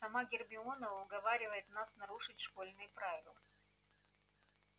сама гермиона уговаривает нас нарушить школьные правила